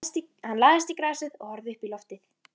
Hann lagðist í grasið og horfði uppí loftið.